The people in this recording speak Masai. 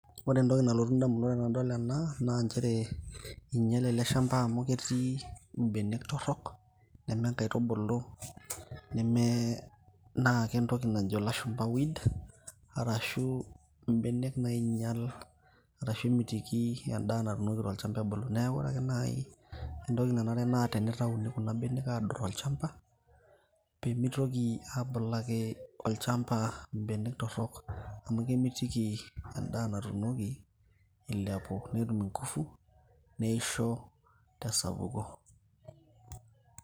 ore entoki nalotu indamunot tenadol ena naa inchere inyiale ele shamba amu ketii imbenek torrok neme nkaitubulu neme naa kentoki najo ilashumpa weed arashu imbenek nainyial arashu emitiki endaa natuunoki tolchamba ebulu neeku ore ake naaji entoki nanare naa tenitauni kuna benek adot tolchamba peemitoki abulaki olchamba imbenek torrok amu kemitiki endaa natunoki ilepu netum ingufu neisho tesapuko.